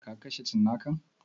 Ka kashe cinnakan?